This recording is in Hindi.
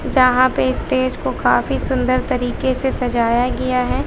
यहां पे स्टेज को काफी सुंदर तरीके से सजाया गया है।